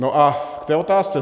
No a k té otázce.